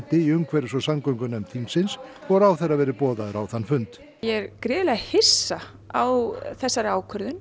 í umhverfis og samgöngunefnd þingsins og ráðherra verði boðaður á þann fund ég er gríðarlega hissa á þessari ákvörðun